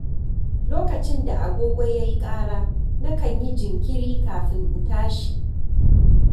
Lokacin da agogo ya yi ƙara, na kan yi jinkiri kafin in tashi.